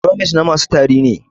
Bromex na masu tari ne